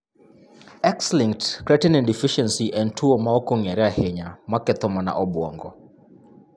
X-linked creatine deficiency en tuwo ma ok ong'ere ahinya maketho mana obwongo.